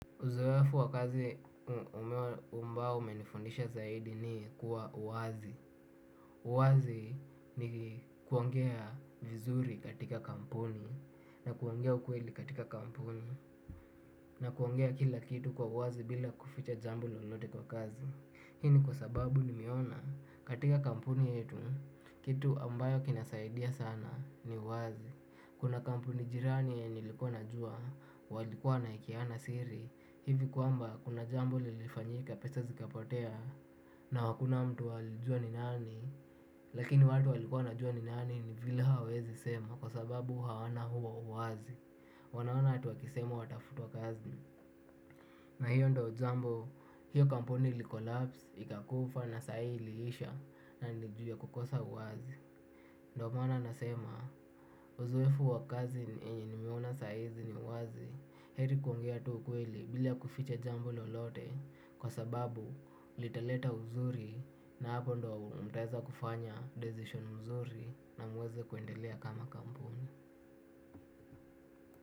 Uzoefu wa kazi ambao umenifundisha zaidi ni kuwa wazi. Uwazi ni kuongea vizuri katika kampuni na kuongea ukweli katika kampuni na kuongea kila kitu kwa uwazi bila kuficha jambo lolote kwa kazi. Hii ni kwa sababu nimeona katika kampuni yetu kitu ambayo kinasaidia sana ni uwazi. Kuna kampuni jirani yenye nilikuwa najua, walikuwa wanaekeana siri hivi kwamba kuna jambo lilifanyika pesa zikapotea na hakuna mtu alijua ni nani lakini watu walikuwa wanajua ni nani ni vile hawawezi sema kwa sababu hawana huo uwazi wanaona hata wakisema watafutwa kazi na hiyo ndiyo jambo, hiyo kampuni ilicollapse, ikakufa na saa hii iliisha na ni ju ya kukosa uwazi ndiyo maana nasema uzoefu wa kazi nimeona saa hizi ni uwazi heri kuongea tu ukweli bila kuficha jambo lolote kwa sababu litaleta uzuri na hapo ndiyo mtaweza kufanya decision mzuri na muweze kuendelea kama kampuni.